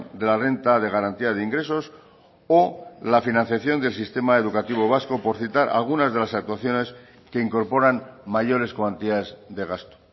de la renta de garantía de ingresos o la financiación del sistema educativo vasco por citar algunas de las actuaciones que incorporan mayores cuantías de gasto